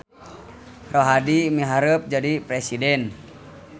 Rohadi miharep jadi presiden